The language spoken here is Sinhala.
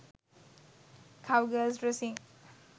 cow girls dresing